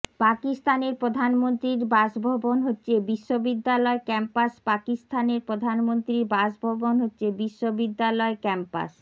পাকিস্তানের প্রধানমন্ত্রীর বাসভবন হচ্ছে বিশ্ববিদ্যালয় ক্যাম্পাস পাকিস্তানের প্রধানমন্ত্রীর বাসভবন হচ্ছে বিশ্ববিদ্যালয় ক্যাম্পাস